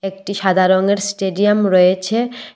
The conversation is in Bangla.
একটি সাদা রংয়ের স্টেডিয়াম রয়েছে।